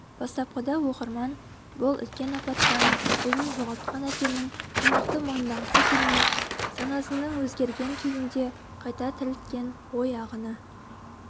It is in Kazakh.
бастапқыда оқырман бұл үлкен апаттан ұлын жоғалтқан әкенің шындықты мойындағысы келмей санасының өзгерген күйінде қайта тірілткен ой ағыны